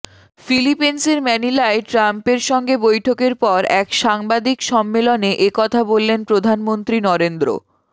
ফিলিপিন্সের ম্যানিলায় ট্রাম্পের সঙ্গে বৈঠকের পর এক সাংবাদিক সম্মেলনে একথা বললেন প্রধানমন্ত্রী নরেন্দ্র